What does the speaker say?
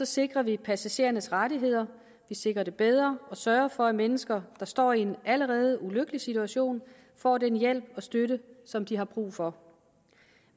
sikrer vi passagerernes rettigheder vi sikrer dem bedre og vi sørger for at mennesker der står i en allerede ulykkelig situation får den hjælp og støtte som de har brug for